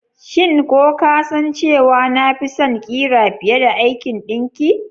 Shin ko ka san cewa na fi son ƙira fiye da aikin ɗinkin?